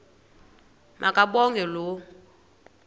ma kabongwe low